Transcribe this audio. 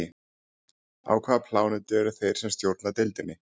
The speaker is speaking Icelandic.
Á hvaða plánetu eru þeir sem stjórna deildinni?